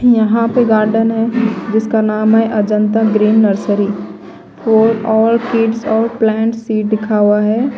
यहाँ पे गार्डन है जिसका नाम है अजंता ग्रीन नर्सरी फॉर और किड्स और प्लांट सीट लिखा हुआ है।